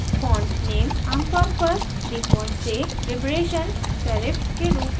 font name आमतौर पर default से liberation serif के रूप में set किया जाता है